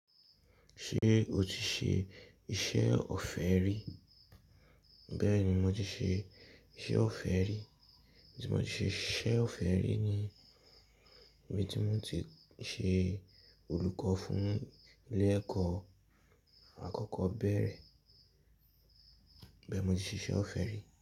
Ṣé o ti ṣe iṣẹ́ ọ̀fẹ́ rí? Bẹ́ẹ̀ ni mo ti ṣe iṣẹ́ ọ̀fẹ́ rí. Ibi tí mo ti ṣe iṣẹ́ ọ̀fẹ́ rí ni ibi tí mo ti ṣe olùkọ́ fún ilé ẹ̀kọ́ àkọ́kọ́ bẹ́ẹ̀rẹ́. Bẹ́ẹ̀ mo ti ṣe iṣẹ́ ọ̀fẹ́ rí.